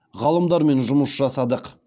ғалымдармен жұмыс жасадық